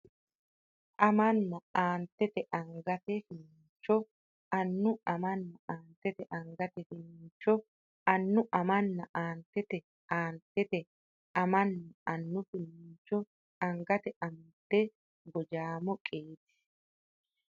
amanna Aantete angate finiincho annu amanna Aantete angate finiincho annu amanna Aantete Aantete amanna annu finiincho angate amadde Gojaamo qiidi !